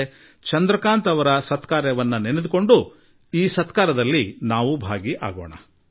ನಾವೂ ಕೂಡಾ ಚಂದ್ರಕಾಂತ್ ಜೀ ಅವರನ್ನು ನೆನಪು ಮಾಡಿಕೊಂಡು ನಾವು ತಲೆಬಾಗೋಣ ಅವರ ಅನುಕರಣೆ ಮಾಡೋಣ